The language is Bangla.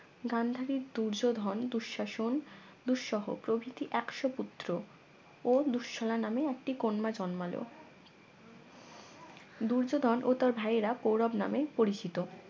গান্ধারীর দুর্যোধন দুঃসাসন দুঃসহ প্রভৃতি একশো পুত্র ও দুসছলা নামে একটি কন্যা জন্মালো দূর্যোধন ও তার ভাইয়েরা কৌরব নামে পরিচিত